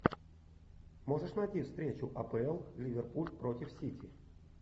можешь найти встречу апл ливерпуль против сити